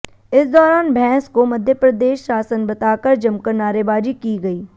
इस दौरान भैंस को मध्यप्रदेश शासन बताकर जमकर नारेबाजी की गई